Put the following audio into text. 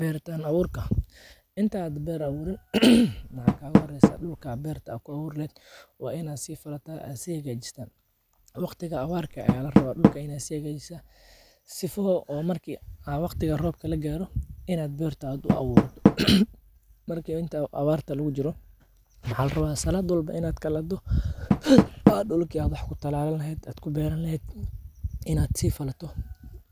Bertan aburka, intaa beer aburin waxaa kaga horeysaa dulka beerta ku aburi leheed wain aad si falataa oo aad si hagajisataa, waqtiga awarkaa aya larawa in aad dulka sihagatiso, sifo marki waqtiga robka lagaro in aad beerta u aburto, marka inta abartaa lagu jiro maxaa larawa salaad walbo in aad kalahda, aa dulki aad wax ku talalan laheed in aad si falato,